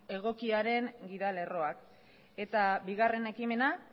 egokiaren gida lerroak eta bigarren ekimena